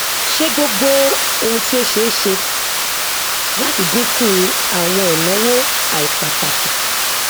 ṣe gbogbo ohun tí ó ṣe é ṣe láti dínkù àwọn ẹnáwó àìpàtàkì